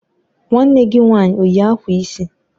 Nwanne gi nwanyị o yi akwa isi?